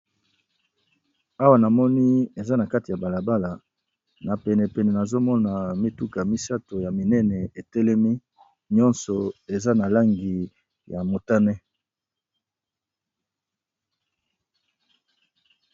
Awa namoni eza na katikati ya balabala na penepene nazomona mituka misatu etelemi nyoso eza na langi ya motani.